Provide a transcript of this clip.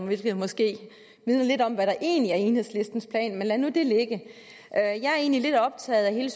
hvilket måske vidner lidt om hvad der egentlig er enhedslistens plan men lad nu det ligge jeg er egentlig lidt optaget af hele